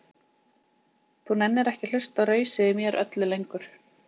Þú nennir ekki að hlusta á rausið í mér öllu lengur.